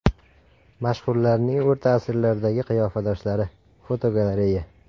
Mashhurlarning o‘rta asrlardagi qiyofadoshlari (fotogalereya).